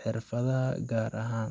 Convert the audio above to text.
xirfadaha gaar ahan.